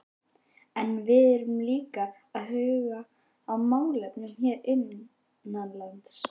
En við verðum líka að huga að málefnum hér innanlands.